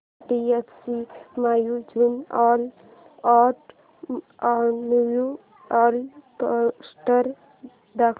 HDFC mutual fund annual report दाखव